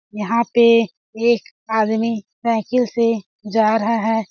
यहाँ पे एक आदमी साइकिल से जा रहा है। .